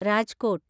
Rajkot